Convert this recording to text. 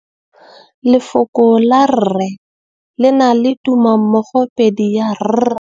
Lefoko la rre le na le tumammogôpedi ya, r.